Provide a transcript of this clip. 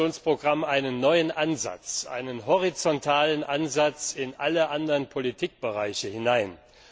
7. Aktionsprogramm einen neuen Ansatz, einen horizontalen Ansatz in alle anderen Politikbereiche hinein.